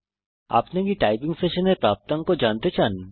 আপনি কি আপনার টাইপিং সেশনের প্রাপ্তাঙ্ক জানতে চান